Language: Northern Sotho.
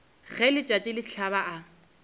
ge letšatši le hlaba a